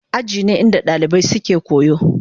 Aji ne inda dalibai suke koyo.